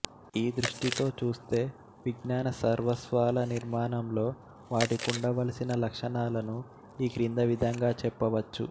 ఈదృష్టితో చూస్తే విజ్ఞాన సర్వస్వాల నిర్మాణంలో వాటికుండవలసిన లక్షణాలను ఈ క్రింది విధంగా చెప్పవచ్చు